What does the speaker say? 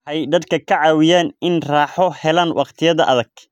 Waxay dadka ka caawiyaan inay raaxo helaan waqtiyada adag.